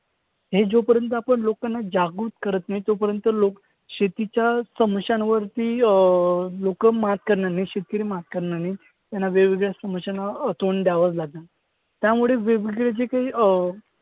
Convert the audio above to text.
हे जोपर्यंत आपण लोकांना जागरूक करत नाही तोपर्यंत लोक शेतीच्या अं लोकं मात करणार नाही. शेतकरी मात करणार नाही. त्यांना वेगवेगळ्या समस्यांना अं तोंड द्यावंच लागेल. त्यामुळे वेगवेगळे जे काही अं